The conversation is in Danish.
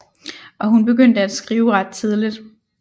Og hun begyndte at skrive ret tidligt